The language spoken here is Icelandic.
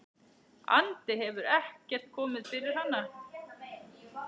andi hefur ekkert komið fyrir hana.